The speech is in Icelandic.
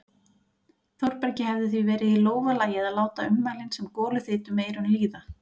Þórbergi hefði því verið í lófa lagið að láta ummælin sem goluþyt um eyrun líða.